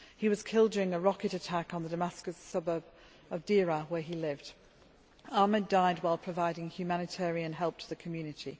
He was killed during a rocket attack on the Damascus suburb of Deraa, where he lived. Ahmad died while providing humanitarian help to the community.